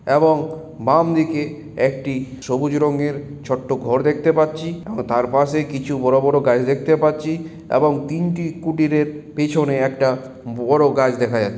এবং বাম দিকে একটি সবুজ রঙের ছোট ঘর দেখতে পাচ্ছি ও তার পাশে কিছু বড় বড় গাছ দেখতে পাচ্ছি এবং তিনটি কুটির এর পেছনে একটা বড় গাছ দেখা যা--